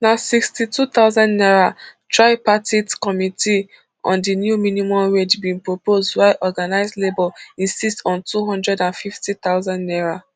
na sixty-two thousand naira tripartite committee on di new minimum wage bin propose while organised labour insist on two hundred and fifty thousand naira